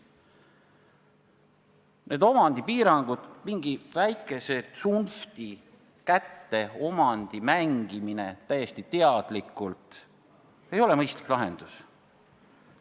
" Need omandipiirangud, omandi mängimine täiesti teadlikult mingi väikese tsunfti kätte ei ole mõistlik lahendus.